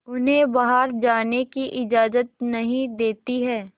उन्हें बाहर जाने की इजाज़त नहीं देती है